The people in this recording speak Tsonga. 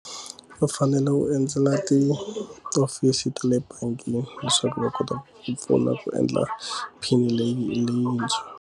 U fanele u endzela tihofisi ta le bangi leswaku va kota ku pfuna ku endla pin leyi leyintshwa.